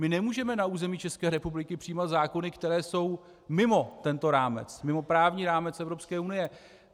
My nemůžeme na území České republiky přijímat zákony, které jsou mimo tento rámec, mimo právní rámec Evropské unie.